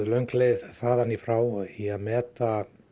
löng leið þaðan í frá í að meta